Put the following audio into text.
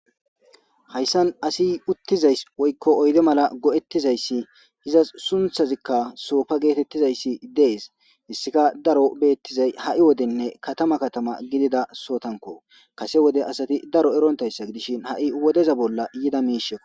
hayssan asi uttizays woykko oyde mala go7ettizayssi izas sunthazikka soofa geetettizayssi dees issika daro beettizay ha7i wodenne katama katama gidida sootanko kase wode asati daro erontayssa gidishin ha7i wodeza bolla yida miisheo